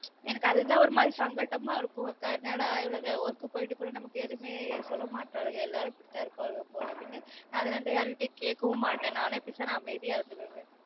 எனக்கு அது தான் ஒரு மாதிரி சங்கட்டமா இருக்கும் ல அக்கா என்னடா இவளுக work போய்ட்டு கூட நமக்கு எதுவுமே சொல்ல மாட்றாளுக எல்லாரும் இப்டி தான் இருப்பாக போல அப்டினு அதுல இருந்து யார்க்கிட்டயும் கேட்கவும் மாட்டன் நானே பேசாம அமைதியா இருந்துக்குவன்